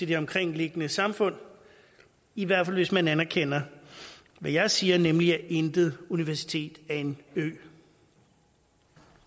det omkringliggende samfund i hvert fald hvis man anerkender hvad jeg siger nemlig at intet universitet er en ø